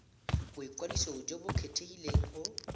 boikwadiso jo bo kgethegileng go